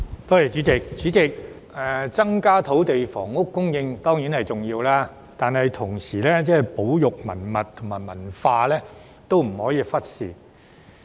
代理主席，增加土地房屋供應當然重要，但同時亦不能忽視保育文物和文化。